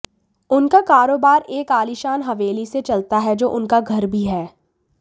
उनका कारोबार एक आलीशान हवेली से चलता है जो उनका घर भी है